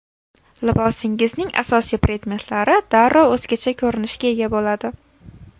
Libosingizning asosiy predmetlari darrov o‘zgacha ko‘rinishga ega bo‘ladi.